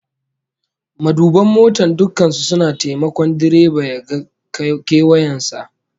Maduban mota dukkan su suna taimakon direba ya ga kewayen sa